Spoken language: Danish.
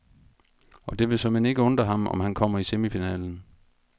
Og det vil såmænd ikke undre ham, om han kommer i semifinalen.